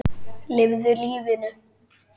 Lifðu lífinu.